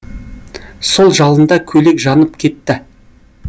сол жалында көйлек жанып кетті